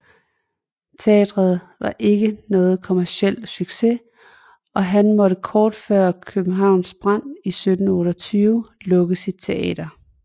Teatret var ikke nogen kommerciel succes og han måtte kort før Københavns brand i 1728 lukke sit teater